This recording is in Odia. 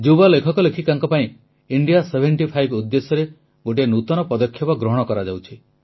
ଯୁବ ଲେଖକଲେଖିକାଙ୍କ ପାଇଁ ଇଣ୍ଡିଆ ସେଭେଂଟିଫାଇଭ୍ ଉଦ୍ଦେଶ୍ୟରେ ଗୋଟିଏ ନୂତନ ପଦକ୍ଷେପ ଗ୍ରହଣ କରାଯାଉଛି